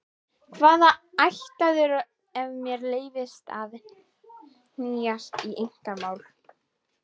Hvaðan ættaður ef mér leyfist að hnýsast í einkamál?